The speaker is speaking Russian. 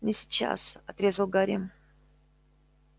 не сейчас отрезал гарри